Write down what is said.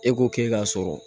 E ko k'e k'a sɔrɔ